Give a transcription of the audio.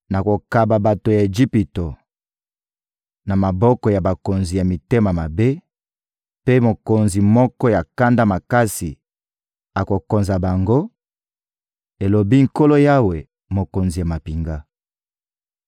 Nakokaba bato ya Ejipito na maboko ya bakonzi ya mitema mabe, mpe mokonzi moko ya kanda makasi akokonza bango,» elobi Nkolo Yawe, Mokonzi ya mampinga.